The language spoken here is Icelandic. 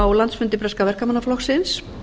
á landsfundi breska verkamannaflokksins